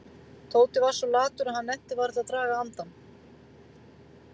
Tóti var svo latur að hann nennti varla að draga andann.